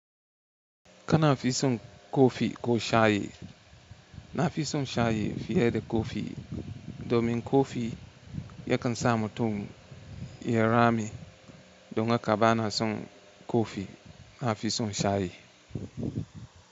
Kana fi son kofi ko shayi? Na fi son shayi fiye da kofi, domin kofi yakan sa mutum ya rame. Don haka bana son kofi. Na fi son shayi.